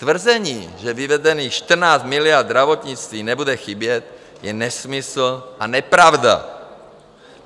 Tvrzení, že vyvedených 14 miliard zdravotnictví nebude chybět, je nesmysl a nepravda.